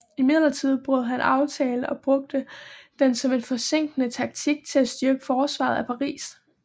Imidlertid brød han aftalen og brugte den som en forsinkende taktik til at styrke forsvaret af Paris